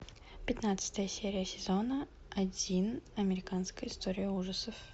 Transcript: пятнадцатая серия сезона один американская история ужасов